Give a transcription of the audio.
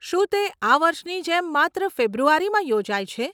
શું તે આ વર્ષની જેમ માત્ર ફેબ્રુઆરીમાં યોજાય છે?